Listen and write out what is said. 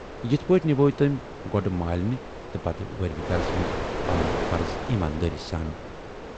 یِتھٕ پٲٹھۍ نِبھٲوۍ تمٔۍ گۅڈٕ مالنہِ تہٕ پتہٕ وٲرِو گرس منز پنٕنۍ فرٕض ایٖمانداری سان۔